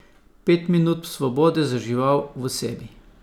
Pet minut svobode za žival v sebi.